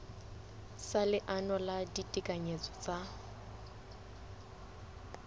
sa leano la ditekanyetso tsa